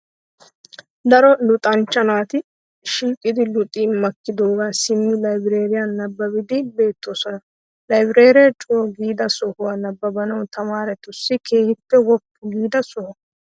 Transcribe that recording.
Daro luxancha naati shiiqidi luxi makkidoogaa simmi laybireeriyan nabbabbiiddi beettoosona. Laybireeree co'u giida sohonne nabbana tamaaretussi keehippe woppu giida soho.